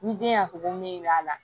Ni den y'a fɔ ko min b'a la